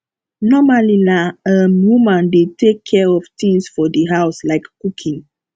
normally na um woman dey take care of things for di house like cooking